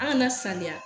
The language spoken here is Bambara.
An kana sanuya